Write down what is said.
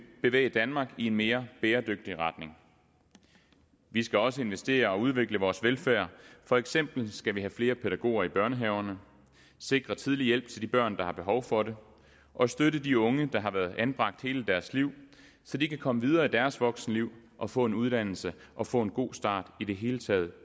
bevæge danmark i en mere bæredygtig retning vi skal også investere i og udvikle vores velfærd for eksempel skal vi have flere pædagoger i børnehaverne sikre tidlig hjælp til de børn der har behov for det og støtte de unge der har været anbragt hele deres liv så de kan komme videre i deres voksenliv og få en uddannelse og få en god start i det hele taget